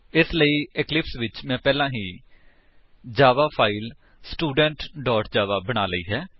ਇਸ ਲਈ ਇਕਲਿਪਸ ਵਿੱਚ ਮੈਂ ਪਹਿਲਾਂ ਹੀ ਇੱਕ ਜਾਵਾ ਫਾਇਲ ਸਟੂਡੈਂਟ ਜਾਵਾ ਬਣਾ ਲਈ ਹੈ